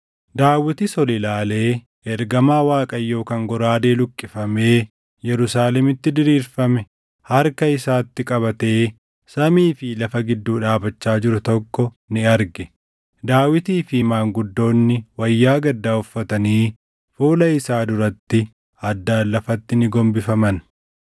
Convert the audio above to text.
Daawitis ol ilaalee ergamaa Waaqayyoo kan goraadee luqqifamee Yerusaalemitti diriirfame harka isaatti qabatee samii fi lafa gidduu dhaabachaa jiru tokko ni arge. Daawitii fi maanguddoonni wayyaa gaddaa uffatanii fuula isaa duratti addaan lafatti ni gombifaman.